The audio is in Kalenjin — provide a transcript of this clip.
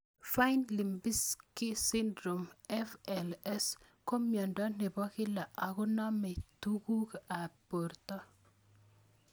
Fine Lubinsky syndrome (FLS) ko miondo nepo kila akonamei tuguk ab porto